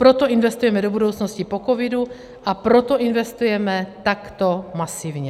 Proto investujeme do budoucnosti po covidu a proto investujeme takto masivně.